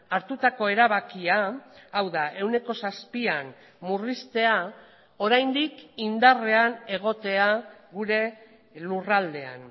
hartutako erabakia hau da ehuneko zazpian murriztea oraindik indarrean egotea gure lurraldean